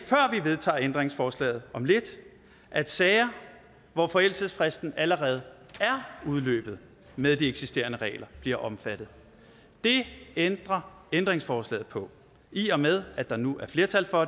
vedtager ændringsforslaget om lidt at sager hvor forældelsesfristen allerede er udløbet med de eksisterende regler bliver omfattet det ændrer ændringsforslaget på i og med at der nu er et flertal for